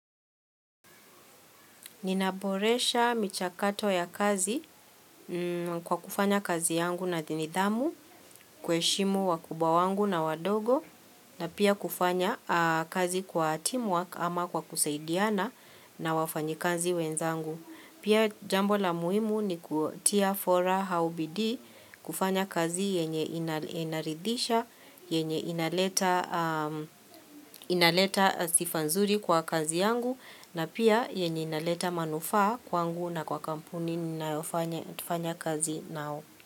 Ninaboresha michakato ya kazi kwa kufanya kazi yangu na nidhamu kuheshimu wakubwa wangu na wadogo na pia kufanya kazi kwa team work ama kwa kusaidiana na wafanyikazi wenzangu. Pia jambo la muhimu ni kutia fora hau bidii kufanya kazi yenye ina inaridhisha, yenye inaleta inaleta sifa nzuri kwa kazi yangu na pia yenye inaleta manufaa kwangu na kwa kampuni ninayofanya fanya kazi nao.